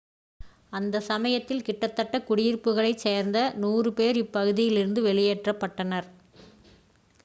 அந்தச் சமயத்தில் கிட்டத்தட்ட குடியிருப்புகளைச் சேர்ந்த 100 பேர் இப்பகுதியில் இருந்து வெளியேற்றப்பட்டனர்